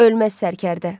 Ölməz Sərkərdə.